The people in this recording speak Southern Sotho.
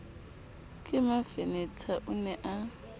le mafenetha o ne a